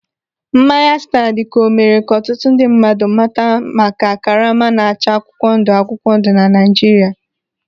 Mmanya staa dịka o mere ka ọtụtụ ndị mmadụ mata maka karama na-acha akwụkwọ ndụ akwụkwọ ndụ na Naijiria.